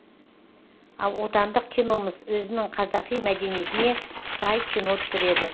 ал отандық киномыз өзінің қазақи мәдениетіне сай кино түсіреді